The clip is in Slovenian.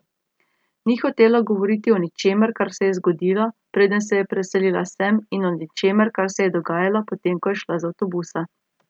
Ni hotela govoriti o ničemer, kar se je zgodilo, preden se je preselila sem, in o ničemer, kar se je dogajalo, potem ko je šla z avtobusa.